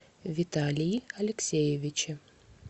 виталии алексеевиче